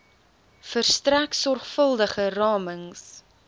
verstrek sorgvuldige ramings